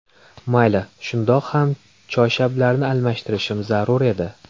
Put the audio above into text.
Mayli, shundoq ham choyshablarni almashtirishim zarur edi”.